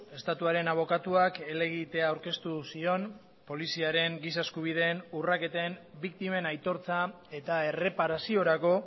estatuaren abokatuak helegitea aurkeztu zion poliziaren gisa eskubideen urraketen biktimen aitortza eta erreparaziorako